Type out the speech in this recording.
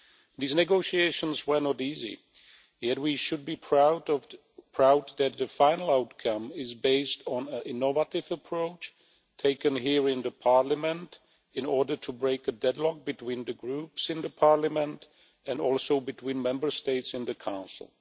These negotiations were not easy, yet we should be proud that the final outcome is based on an innovative approach taken here in the Parliament in order to break the deadlock between the groups in the Parliament and also between Member States in the Council.